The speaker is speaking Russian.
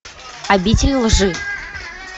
обитель лжи